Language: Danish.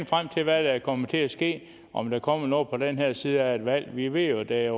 frem til hvad der kommer til at ske om der kommer noget på den her side af et valg vi ved jo at der